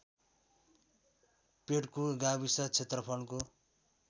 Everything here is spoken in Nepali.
पेड्कु गाविस क्षेत्रफलको